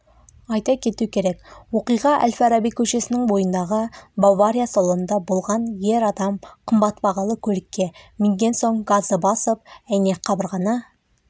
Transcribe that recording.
айта кету керек оқиға әл-фараби көшесінің бойындағы бавария салонында болған ер адам қымбат бағалы көлікке мінген соң газды басып әйнек қабырғаны